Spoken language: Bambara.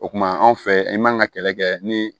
O kumana anw fɛ i man ka kɛlɛ kɛ ni